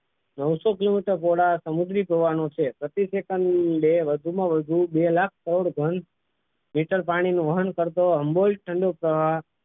નવસો kilometer જેટલા સમુદ્રી હોવાનો છે પ્રતિ એ કરે વધુમાં વધુ બે લાખ કરોડ ઘન મીટર પાણીનું વાહન કરતો